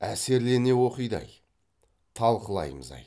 әсерлене оқиды ай талқылаймыз ай